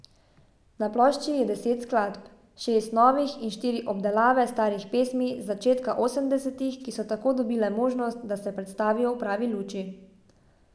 Na plošči je deset skladb, šest novih in štiri obdelave starih pesmi z začetka osemdesetih, ki so tako dobile možnost, da se predstavijo v pravi luči.